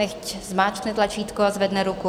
Nechť zmáčkne tlačítko a zvedne ruku.